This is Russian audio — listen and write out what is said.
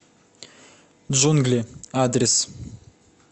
джунгли адрес